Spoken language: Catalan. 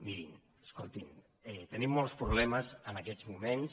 mirin escoltin tenim molts problemes en aquests moments